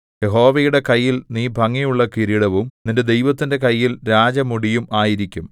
യഹോവയുടെ കയ്യിൽ നീ ഭംഗിയുള്ള കിരീടവും നിന്റെ ദൈവത്തിന്റെ കയ്യിൽ രാജമുടിയും ആയിരിക്കും